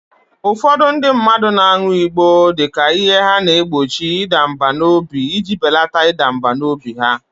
Ụfọdụ ndị mmadụ na-aṅụ igbọ dị ka ihe na-egbochi ịda mbà n'obi iji belata ịda mbà n'obi ha